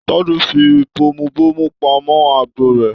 Tade fí bomubomu pamọ agbo rẹ̀.